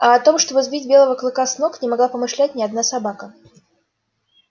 а о том чтобы сбить белого клыка с ног не могла помышлять ни одна собака